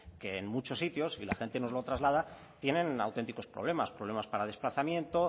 que en muchos sitios y la gente nos lo traslada tienen auténticos problemas problemas para desplazamiento